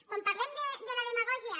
quan parlem de la demagògia